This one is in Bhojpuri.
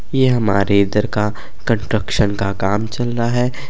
यह हमारे इधर का कंट्रक्शन का काम चल रहा है।